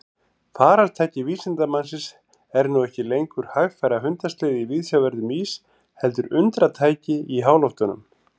Farartæki vísindamannsins er nú ekki lengur hægfara hundasleði í viðsjárverðum ís heldur undratæki í háloftunum.